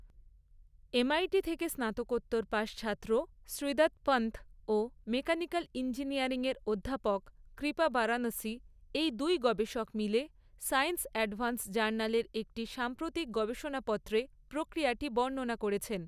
MIT থেকে স্নাতকোত্তর পাশ ছাত্র শ্রীদাথ পনত ও মেকানিক্যাল ইঞ্জিনিয়ারিংয়ের অধ্যাপক কৃপা বারাণসী এই দুই গবেষক মিলে সায়েন্স অ্যাডভান্স জার্নালের একটি সাম্প্রতিক গবেষণাপত্রে প্রক্রিয়াটি বর্ণনা করেছেন।